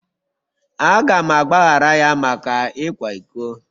Aga m agbaghara ya maka ịkwa iko.